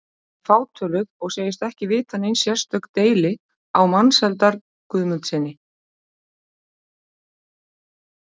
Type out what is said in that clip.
Hún er fátöluð og segist ekki vita nein sérstök deili á Mensalder Guðmundssyni.